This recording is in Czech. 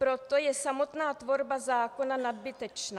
Proto je samotná tvorba zákona nadbytečná.